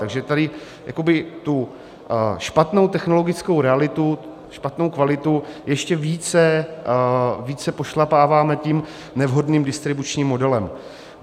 Takže tady tu špatnou technologickou realitu, špatnou kvalitu, ještě více pošlapáváme tím nevhodným distribučním modelem.